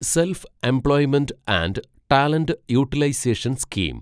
self-employment and talent utilisation scheme